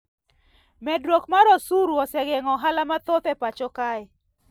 Medruok mar osuru osegeng`o ohala mathoth e pacho kae